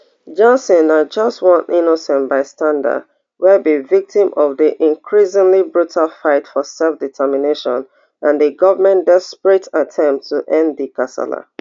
johnson na just one innocent bystander wey be victim of di increasingly brutal fight for selfdetermination and di goment desperate attempts to end di kasala